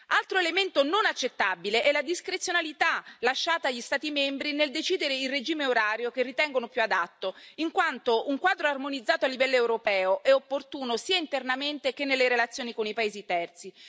Altro elemento non accettabile è la discrezionalità lasciata agli Stati membri nel decidere il regime orario che ritengono più adatto, in quanto un quadro armonizzato a livello europeo è opportuno sia internamente che nelle relazioni con i paesi terzi.